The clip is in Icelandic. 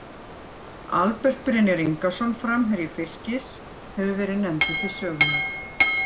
Albert Brynjar Ingason, framherji Fylkis, hefur verið nefndur til sögunnar.